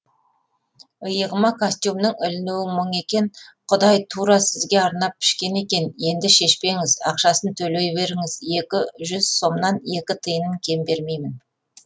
иығыма костюмнің ілінуі мұң екен құдай тура сізге арнап пішкен екен енді шешпеңіз ақшасын төлей беріңіз екі жүз сомнан екі тиынын кем бермеймін